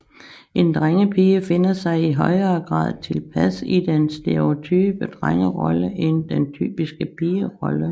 En drengepige finder sig i højere grad tilpas i den stereotype drengerolle end den typiske pigerolle